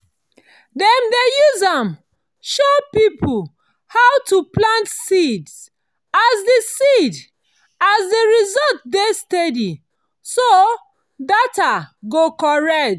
dem dey use am show people how to plant seed as the seed as the result dey steady so data go correct.